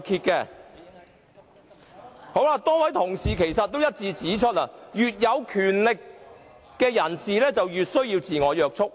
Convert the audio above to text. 多位同事一致指出，越有權力的人，越需要自我約束。